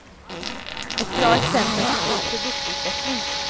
Ett bra exempel på god produktutveckling.